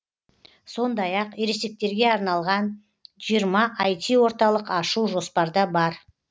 сондай ақ ересектерге арналған жиырма айти орталық ашу жоспарда бар